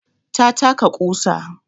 Ta taka ƙusa